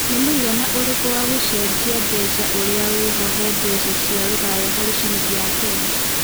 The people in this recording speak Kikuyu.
nĩ mũigana ũrikũ wa gũcenjia mbeca ũria wĩho he mbeca cia rũraya harĩ ciringi ya Kenya